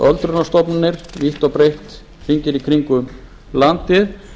öldrunarstofnanir vítt og breitt hringinn í kringum landið